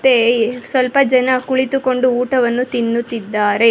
ಹಾಗೆಯೇ ಸ್ವಲ್ಪ ಜನ ಕುಳಿತುಕೊಂಡು ಊಟವನ್ನು ತಿನ್ನುತ್ತಿದ್ದಾರೆ.